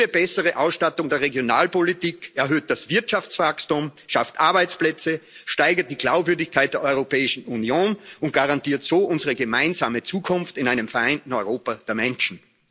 Jede bessere Ausstattung der Regionalpolitik erhöht das Wirtschaftswachstum, schafft Arbeitsplätze, steigert die Glaubwürdigkeit der Europäischen Union und garantiert so unsere gemeinsame Zukunft in einem vereinten Europa der Menschen.